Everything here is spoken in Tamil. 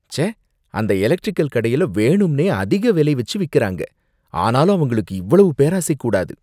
ச்சே! அந்த எலெக்ட்ரிகல் கடையில வேணும்னே அதிக விலை வச்சி விக்கிறாங்க, ஆனாலும் அவங்களுக்கு இவ்வளவு பேராசை கூடாது